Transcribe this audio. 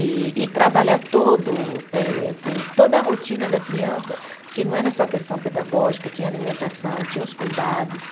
E e trabalhar todo eh assim, toda a rotina da criança, porque não era só a questão pedagógica, tinha alimentação, tinha os cuidados.